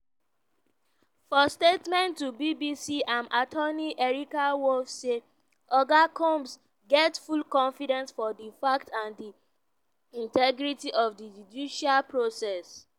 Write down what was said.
for statement to bbc im attorney erica wolff say: "oga combs get full confidence for di facts and di integrity of di judicial process.